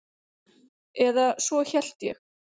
Eða svo hélt ég.